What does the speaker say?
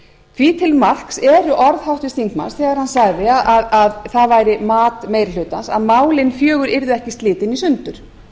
því til marks eru orð háttvirts þingmanns þegar hann sagði að það væri mat meiri hlutans að málin fjögur yrðu ekki slitin í sundur